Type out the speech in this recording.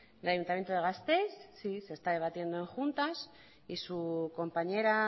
el ayuntamiento de gasteiz sí se está debatiendo en juntas y su compañera